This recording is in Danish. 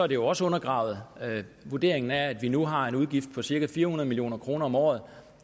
det også undergravet vurderingen er at vi nu har en udgift på cirka fire hundrede million kroner om året